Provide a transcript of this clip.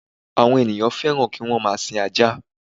Àwon ènìyàn fẹ́ràn ki wọ́n máa sin ajá